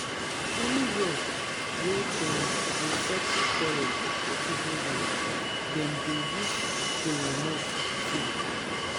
anywia wey dem dey settle quarel for igboland dem dey use kolanut too